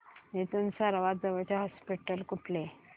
इथून सर्वांत जवळचे हॉस्पिटल कुठले